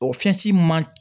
O fɛn si man